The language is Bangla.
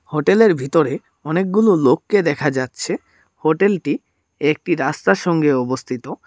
হোটেল এর ভিতরে অনেকগুলো লোককে দেখা যাচ্ছে হোটেল টি একটি রাস্তার সঙ্গে অবস্থিত।